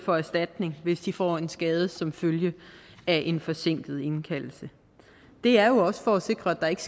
få erstatning hvis de får en skade som følge af en forsinket indkaldelse det er jo også for at sikre at der ikke